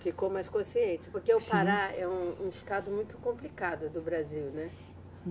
Ficou mais consciente, porque o Pará é um, um estado muito complicado do Brasil, né?